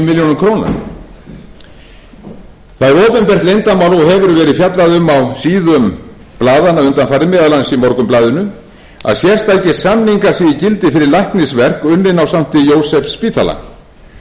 milljónir króna það er opinbert leyndarmál og hefur verið fjallað um á síðum blaðanna undanfarið meðal annars í morgunblaðinu að sérstakir samningar séu í gildi fyrir læknisverk unnin á sankti jósefsspítala aðrir heilbrigðisstarfsmenn